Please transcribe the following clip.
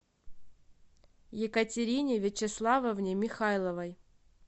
екатерине вячеславовне михайловой